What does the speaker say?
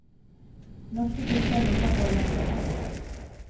Norske gutter ligner på de engelske.